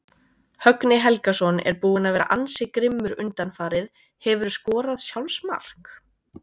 Högni Helgason er búinn að vera ansi grimmur undanfarið Hefurðu skorað sjálfsmark?